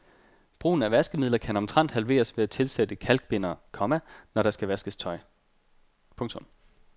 Brugen af vaskemidler kan omtrent halveres ved at tilsætte kalkbindere, komma når der skal vaskes tøj. punktum